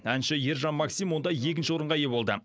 әнші ержан максим онда екінші орынға ие болды